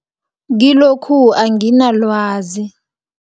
Kilokhu anginalwazi.